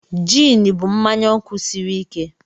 Jịn bụ mmanya ọkụ sịrị ike.